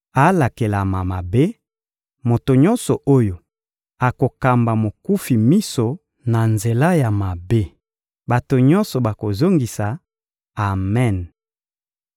«Alakelama mabe, moto nyonso oyo akokamba mokufi miso na nzela ya mabe.» Bato nyonso bakozongisa: «Amen!»